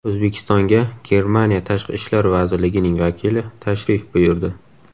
O‘zbekistonga Germaniya Tashqi ishlar vazirligining vakili tashrif buyurdi.